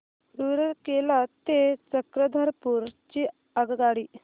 रूरकेला ते चक्रधरपुर ची आगगाडी